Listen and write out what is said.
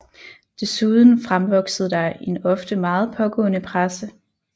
Desuden fremvoksede der en ofte meget pågående presse